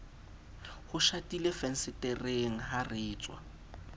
ho shatilefensetereng ha re tswaa